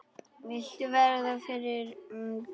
Vildu verða fyrri til.